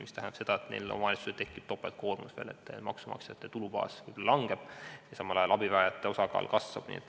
See tähendab seda, et nendel omavalitsustel tekib topeltkoormus – maksumaksjate tulubaas kahaneb ja samal ajal abivajajate osakaal kasvab.